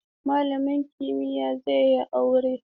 Malamin kimiyya zai yi aure?